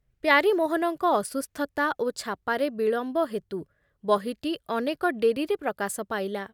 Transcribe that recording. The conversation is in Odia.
ପ୍ୟାରୀମୋହନଙ୍କ ଅସୁସ୍ଥତା ଓ ଛାପାରେ ବିଳମ୍ବ ହେତୁ ବହିଟି ଅନେକ ଡେରିରେ ପ୍ରକାଶ ପାଇଲା ।